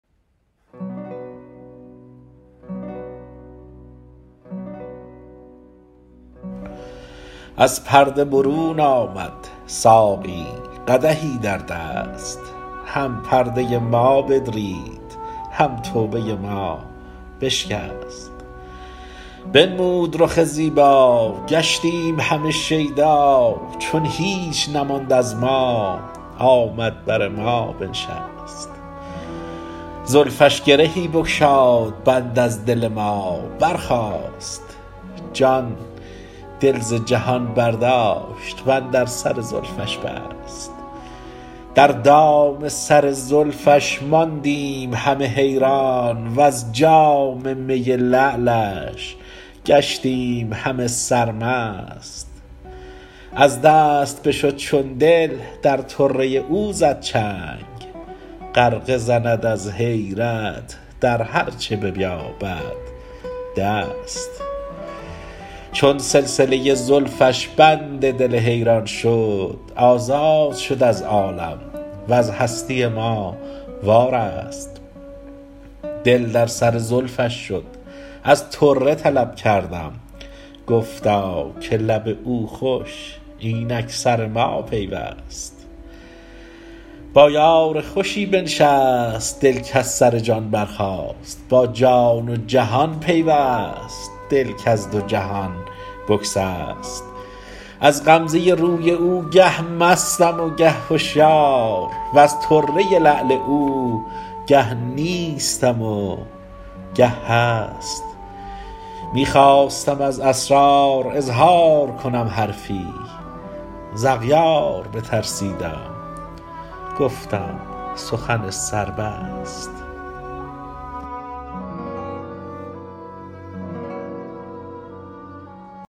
از پرده برون آمد ساقی قدحی در دست هم پرده ما بدرید هم توبه ما بشکست بنمود رخ زیبا گشتیم همه شیدا چون هیچ نماند از ما آمد بر ما بنشست زلفش گرهی بگشاد بند از دل ما برخاست جان دل ز جهان برداشت وندر سر زلفش بست در دام سر زلفش ماندیم همه حیران وز جام می لعلش گشتیم همه سرمست از دست بشد چون دل در طره او زد چنگ غرقه زند از حیرت در هرچه بیابد دست چون سلسله زلفش بند دل حیران شد آزاد شد از عالم وز هستی ما وارست دل در سر زلفش شد از طره طلب کردم گفتا که لب او خوش اینک سر ما پیوست با یار خوشی بنشست دل کز سر جان برخاست با جان و جهان پیوست دل کز دو جهان بگسست از غمزه روی او گه مستم و گه هشیار وز طره لعل او گه نیستم و گه هست می خواستم از اسرار اظهار کنم حرفی ز اغیار بترسیدم گفتم سخن سر بست